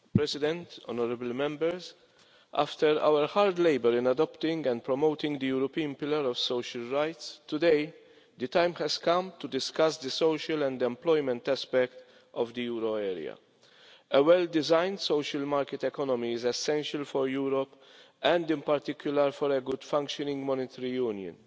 Mr President, after our hard labour in adopting and promoting the European Pillar of Social Rights, today the time has come to discuss the social and employment aspect of the euro area. A well designed social market economy is essential for Europe, and in particular for a good functioning monetary union.